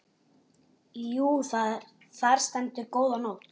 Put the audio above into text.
Jú, þar stendur góða nótt.